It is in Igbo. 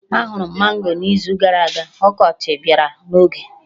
Ahụrụ m mango n'izu gara aga, ọkọchị bịara n'oge